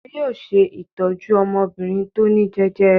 Wọn yóò ṣe ìtọ́jú ọmọbìnrin tó ní jẹjẹrẹ.